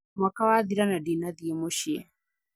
Mwaka wathira na ndinathĩĩ mũcĩĩ